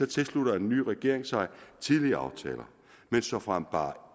tilslutter en ny regering sig tidligere aftaler såfremt bare